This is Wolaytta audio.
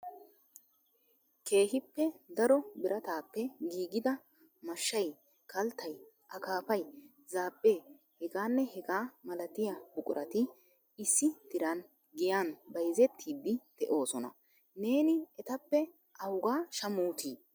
Keehippe daro biratappe giigida mashshay, kalttay, akkafay, zaabe, heganne hegaa malatiyaa buqurati issi diran giyaan bayzzettidi de'oosona. Neeni etappe awugaa shammutti?